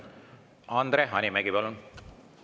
Andre Hanimägi, palun!